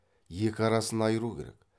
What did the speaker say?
екі арасын айыру керек